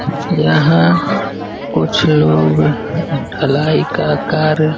यहाँ कुछ लोग ढलाई का कार्य --